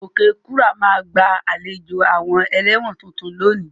Okekura ma gba àlejò àwon eléwòn tuntun lónìí